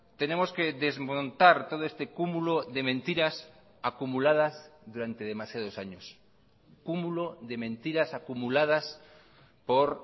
tenemos que desmontar todo este cúmulo de mentiras acumuladas durante demasiados años cúmulo de mentiras acumuladas por